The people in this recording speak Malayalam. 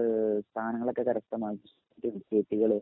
ഏഹ് സ്ഥാനങ്ങളൊക്കെ കരസ്തമാക്കിയ കേസുകള്.